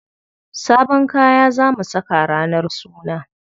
Sabon kaya za mu saka ranar suna.